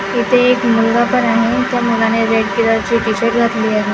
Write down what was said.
इथे एक मुलगा पण आहे त्या मुलाने रेड कलर चे टी_शर्ट घातले आहे.